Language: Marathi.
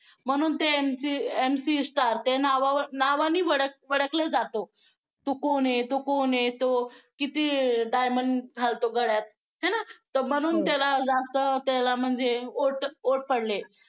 म्हणून ते MC Stan नावाने ओळखले जाते तो कोण आहे तो कोण आहे तो किती diamond घालतो गळ्यात आहे ना तर म्हणून त्याला जास्त त्याला म्हणजे vote पडले.